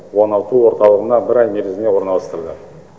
оңалту орталығына бір ай мерзімге орналастырылды